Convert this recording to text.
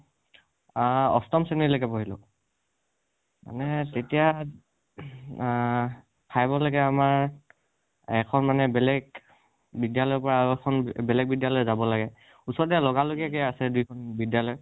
আ অষ্টম শ্ৰেণী লৈকে পঢ়িলোঁ। মানে তেতিয়া আ five ৰ লৈকে আমাৰ এখন মানে বেলেগ বিদ্যালয়ৰ পৰা আৰু এখন বেলেগ বিদ্যালয় যাব লাগে। ওচৰতে লগা লগী কৈ আছে দুইখন বিদ্যালয়